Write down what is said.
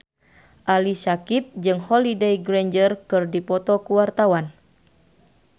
Ali Syakieb jeung Holliday Grainger keur dipoto ku wartawan